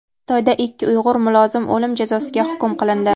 Xitoyda ikki uyg‘ur mulozim o‘lim jazosiga hukm qilindi.